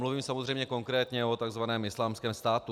Mluvím samozřejmě konkrétně o tzv. Islámském státu.